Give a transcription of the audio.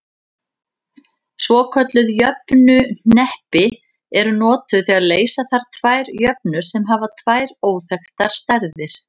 Svokölluð jöfnuhneppi eru notuð þegar leysa þarf tvær jöfnur sem hafa tvær óþekktar stærðir.